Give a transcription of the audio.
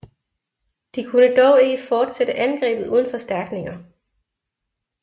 De kunne dog ikke fortsætte angrebet uden forstærkninger